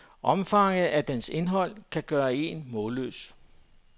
Omfanget af dens indhold kan gøre en målløs.